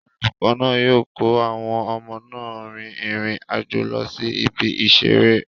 Olùkọ́ náà yóò kó àwọn ọmọ náà rin ìrìn àjò lọ sí ibi ìseré